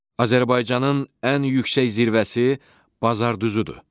Azərbaycanın ən yüksək zirvəsi Bazardüzüdür.